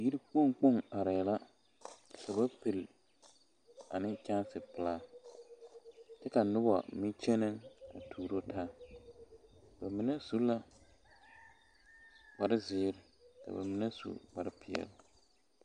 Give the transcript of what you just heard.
Yiiri kpoŋ kpoŋ arɛɛ la ka ba pili ne kyɛnse pilaa kyɛ ka noba mine kyɛnɛ a tuuro taa ba mine su la kpare zeere ka ba mine su kpare peɛle.